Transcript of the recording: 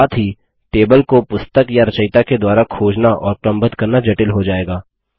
साथ ही टेबल को पुस्तक या रचयिता के द्वारा खोजना और क्रमबद्ध करना जटिल हो जाएगा